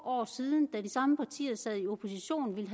år siden da de samme partier sad i opposition ville